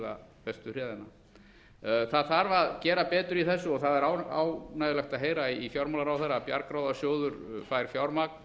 og bíða bestu það þarf einfaldlega að gera betur í þessu og það er ánægjulegt að heyra í fjármálaráðherra að bjargráðasjóður fær fjármagn